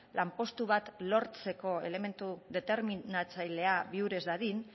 lanpostu bat lortzeko elementu determinatzailea bihur ez dadin